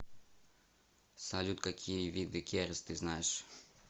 салют какие виды керис ты знаешь